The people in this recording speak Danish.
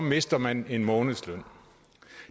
mister man en månedsløn